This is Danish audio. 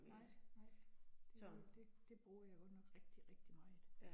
Nej, nej, det det det bruger jeg godt nok rigtig rigtig meget